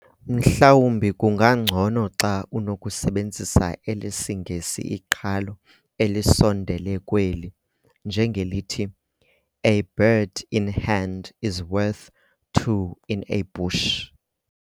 Mhlawumbi kungangcono xa unokusebenzisa elesiNgesi iqhalo elisondele kweli, njengelithi, "A bird in hand is worth two in a bush."